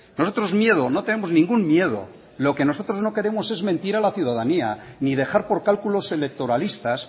nosotros miedo no tenemos ningún miedo lo que nosotros no queremos es mentir a la ciudadanía ni dejar por cálculos electoralistas